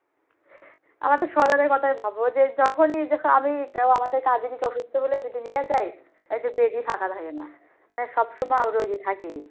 আমাদের সজলের কথা ভাবো যে যখনি আমি কেও আমাদের কাজের অসুস্থ হলে নিয়ে যায় Bed ই ফাকা থাকে না। মানে আরও রোগী থাকে হু